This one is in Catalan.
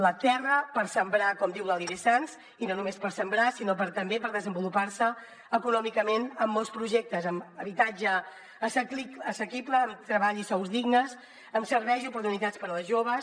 la terra per sembrar com diu l’alidé sans i no només per sembrar sinó també per desenvolupar se econòmicament en molts projectes amb habitatge assequible amb treball i sous dignes amb serveis i oportunitats per a les joves